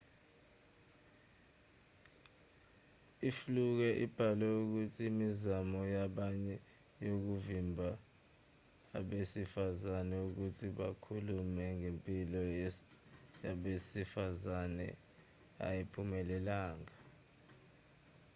ufluke ubhale ukuthi imizamo yabanye yokuvimba abesifazane ukuthi bakhulume ngempilo yabesifazane ayiphumelelanga